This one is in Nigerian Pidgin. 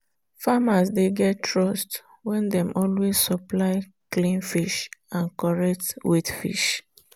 farmers dey get trust when dem always supply clean fresh and correct-weight fish.